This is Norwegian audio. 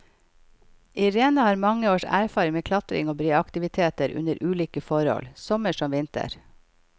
Irene har mange års erfaring med klatring og breaktiviteter under ulike forhold, sommer som vinter.